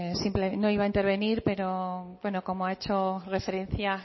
no iba a intervenir pero como ha hecho referencia